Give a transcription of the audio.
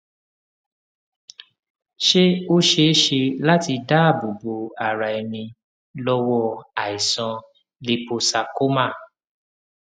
ṣé ó ṣeé ṣe láti dáàbò bo ara ẹni lọwọ aisan líposarcoma